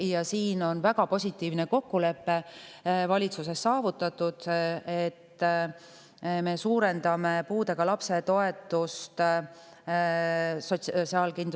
Valitsuses on saavutatud väga positiivne kokkulepe: me suurendame Sotsiaalkindlustusametis puudega lapse toetuse sihtgruppi.